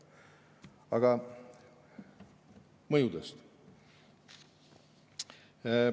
Aga mõjudest.